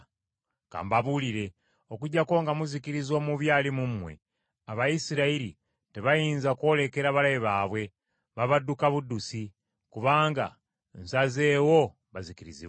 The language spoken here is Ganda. Ka mbabuulire, okuggyako nga muzikiriza omubi ali mu mmwe, Abayisirayiri tebayinza kwolekera balabe baabwe, babadduka buddusi, kubanga nsazeewo bazikirizibwe.